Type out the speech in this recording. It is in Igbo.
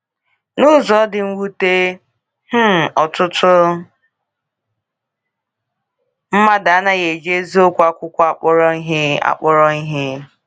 N’ụzọ dị mwute, um ọtụtụ mmadụ anaghị eji eziokwu akwụkwọ akpọrọ ihe. akpọrọ ihe.